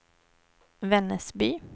Vännäsby